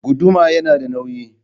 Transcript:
Guduma yana da nauyi.